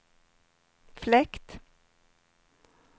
fläkt